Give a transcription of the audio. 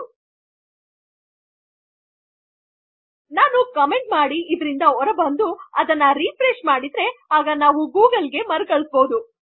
ಇದರಿಂದ ನಾನು ಕಮೆಂಟ್ ಮಾಡಿ ಹೊರ ಬರಬಹುದೆಂದರೆ ಮತ್ತು ಅದನ್ನು ರಿಫ್ರೆಶ್ ಮಾಡಬೇಕಾದರೆ ಆಗ ನಾವು ಗೂಗಲ್ ಗೆ ಹೋಗುತ್ತೆವೆ